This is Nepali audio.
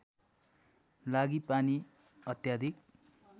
लागि पानी अत्याधिक